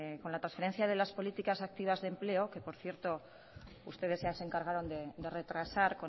con la transferencias de las políticas activas de empleo que por cierto ustedes ya se encargaron de retrasar